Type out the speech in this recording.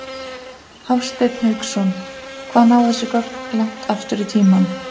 Hafsteinn Hauksson: Hvað ná þessi gögn langt aftur í tímann?